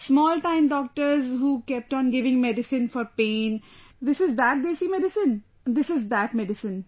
Small time doctors who kept on giving medicine for pain, this is that desi medicine, this is that medicine